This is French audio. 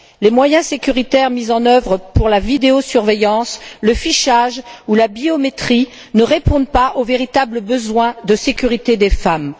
Les moyens sécuritaires mis en œuvre pour la vidéosurveillance, le fichage ou la biométrie ne répondent pas aux véritables besoins de sécurité des femmes.